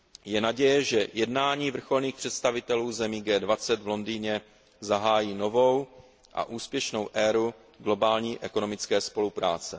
Je naděje, že jednání vrcholných představitelů zemí G20 v Londýně zahájí novou a úspěšnou éru globální ekonomické spolupráce.